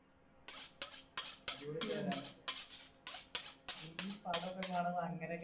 അടിപൊളി പേരാ ഈ പടൊക്കെ കാണുമ്പോ അങ്ങനെയൊക്കെ